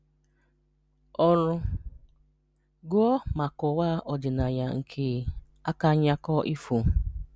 Ọ̀rụ́: Gụ́ọ̀ ma kọ̀waà ọdị̀nàyà nké àkànyà̀kọ̀ ifò